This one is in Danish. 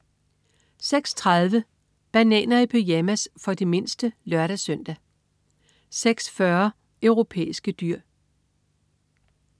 06.30 Bananer i pyjamas. For de mindste (lør-søn) 06.40 Europæiske dyr